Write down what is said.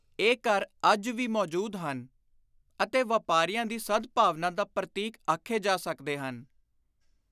ਇਹ ਘਰ ਅੱਜ ਵੀ ਮੌਜੂਦ ਹਨ ਅਤੇ ਵਾਪਾਰੀਆਂ ਦੀ ਸਦ-ਭਾਵਨਾ ਦਾ ਪਰਤੀਕ ਆਖੇ ਜਾ ਸਕਦੇ ਹਨ।